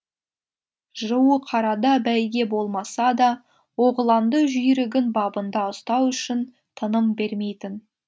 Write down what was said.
жуықарада бәйге болмаса да оғланды жүйрігін бабында ұстау үшін тыным бермейтін